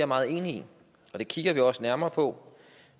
meget enig i og det kigger vi også nærmere på